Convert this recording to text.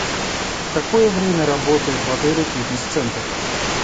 в какое время работает в отеле фитнес центр